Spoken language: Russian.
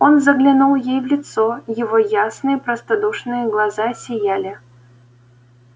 он заглянул ей в лицо его ясные простодушные глаза сияли